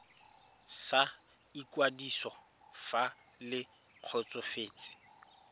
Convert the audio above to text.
sa ikwadiso fa le kgotsofetse